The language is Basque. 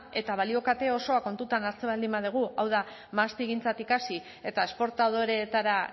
eta balio kate osoa kontutan hartzen baldin badugu hau da mahastigintzatik hasi eta esportadoreetara